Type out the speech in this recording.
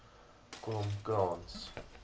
kromkrans